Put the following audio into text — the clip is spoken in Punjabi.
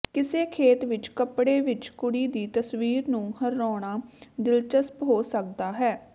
ਕਿਸੇ ਖੇਤ ਵਿਚ ਕੱਪੜੇ ਵਿਚ ਕੁੜੀ ਦੀ ਤਸਵੀਰ ਨੂੰ ਹਰਾਉਣਾ ਦਿਲਚਸਪ ਹੋ ਸਕਦਾ ਹੈ